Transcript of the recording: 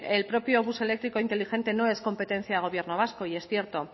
el propio bus eléctrico inteligente no es competencia del gobierno vasco y es cierto